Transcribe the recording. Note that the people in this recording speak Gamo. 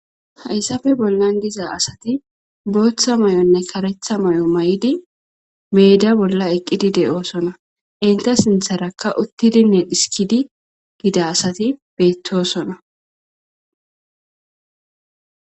Hayssappe bollan diza asati booththa may7onne karetha may7o may7idi meeda bolla eqqidi de7oosona. Inta sintharakka uttidinne dhiskidi dida asati beettosona.